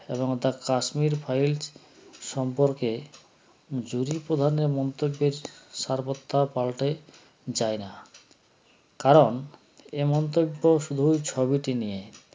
এবং the kashmir files সম্পর্কে জুড়ি প্রধানের মন্তব্যের সারবথ্যা পাল্টে যায় না কারণ এ মন্তব্য শুধুই ছবিটি নিয়ে